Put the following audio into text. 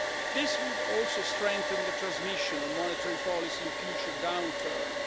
area. This would also strengthen the transmission of monetary policy in future downturns.